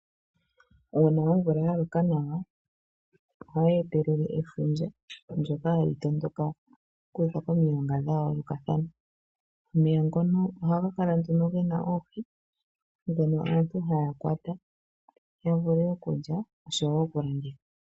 Uuna omvula yaloka nawa ohayi etelele efundja ndyoka hali tondoka okuza komilonga dhayoolokathana. Omeya ngono ohaga kala ge na oohi ndhono aantu haya kwata yavule okulya osho wo okulanditha.